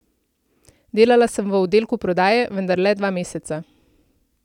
Delala sem v oddelku prodaje, vendar le dva meseca.